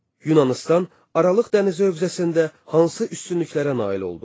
Yunanıstan Aralıq dənizi hövzəsində hansı üstünlüklərə nail oldu?